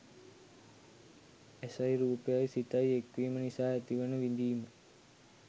ඇසයි රූපයයි සිතයි එක්වීම නිසා ඇතිවන විඳීම